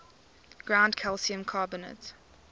ground calcium carbonate